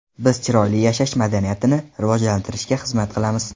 Biz chiroyli yashash madaniyatini rivojlantirishga xizmat qilamiz.